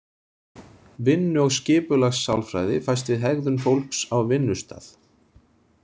Vinnu- og skipulagssálfræði fæst við hegðun fólks á vinnustað.